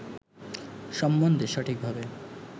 সম্বন্ধে সঠিকভাবে